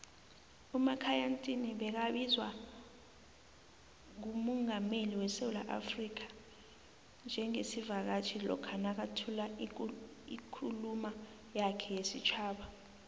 umakhaya ntini begabizwa ngumungameli wesewula africa njengesivakatjhi lokha nakathula ikhuluma yakhe yesitjhaba